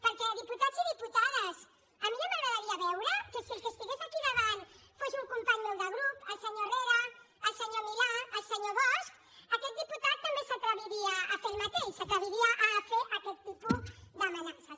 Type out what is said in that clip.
perquè diputats i diputades a mi ja m’agradaria veure que si el que estigués aquí davant fos un company meu de grup el senyor herrera el senyor milà el senyor bosch aquest diputat també s’atreviria a fer el mateix si s’atreviria a fer aquest tipus d’amenaces